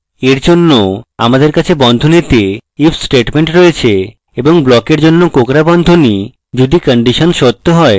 for জন্য আমাদের কাছে বন্ধনীতে if statement রয়েছে এবং ব্লকের জন্য কোঁকড়া বন্ধনী যদি condition সত্য হয়